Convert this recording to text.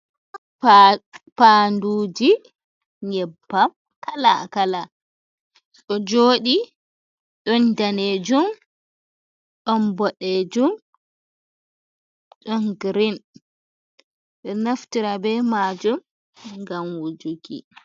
Paa. Paanduji nyebbam kala-kala ɗo joɗi, don danejum, don bodejum, don girin. Ɓe ɗo naftira be majum ngam wujuki.